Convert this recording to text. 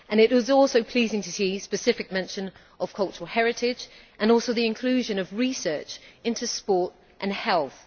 It is also pleasing to see specific mention of cultural heritage and the inclusion of research into sport and health.